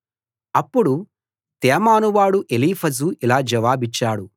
అప్పుడు తేమాను వాడు ఎలీఫజు ఇలా జవాబిచ్చాడు